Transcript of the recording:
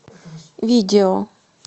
видео